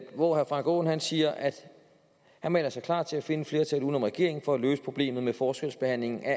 hvor herre frank aaen siger at han melder sig klar til at finde et flertal uden om regeringen for at løse problemet med forskelsbehandling af